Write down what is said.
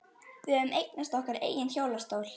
Við höfðum eignast okkar eigin hjólastól.